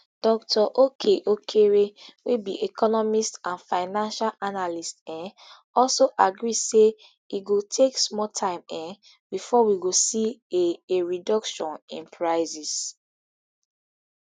dr okey okere wey bi economist and financial analyst um also agree say e go take small time um bifor we go see a a reduction in prices